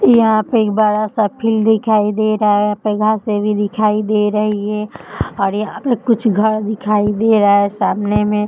यहाँ पे एक बड़ा-सा फील्ड दिखाई दे रहा है। यहाँ से भी दिखाई दे रही है और यहाँ पर कुछ घर दिखाई दे रहा हैं सामने में।